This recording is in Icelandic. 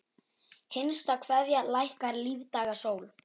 HINSTA KVEÐJA Lækkar lífdaga sól.